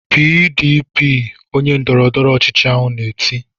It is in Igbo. "PDP!" Onye ndọrọndọrọ ọchịchị ahụ na-eti.